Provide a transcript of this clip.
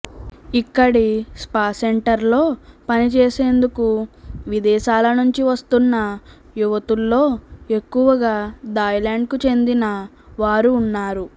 ఇక్కడి స్పాసెంటర్లలో పనిచేసేందుకు విదేశాల నుంచి వస్తున్న యువతుల్లో ఎక్కువగా థాయ్లాండ్కు చెందిన వారు ఉన్నారు